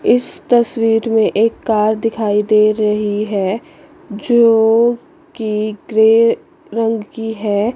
इस तस्वीर में एक कार दिखाई दे रही है जो की ग्रे रंग की है।